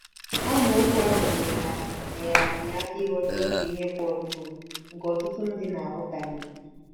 Amaokwu ahụ nyeere anyị nyeere anyị aka ịghọta otu ihe Pọl kwuru nke ọtụtụ ndị na - aghọtahie.